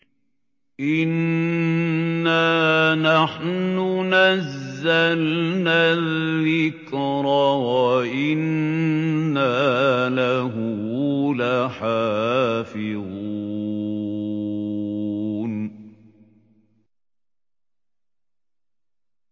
إِنَّا نَحْنُ نَزَّلْنَا الذِّكْرَ وَإِنَّا لَهُ لَحَافِظُونَ